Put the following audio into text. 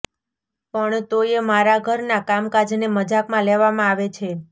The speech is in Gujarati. પણ તોયે મારાં ઘરનાં કામકાજને મજાકમાં લેવામાં આવે છે